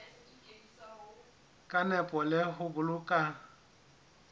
ka nepo le ho boloka